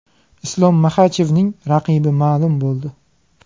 Islom Maxachevning raqibi ma’lum bo‘ldi.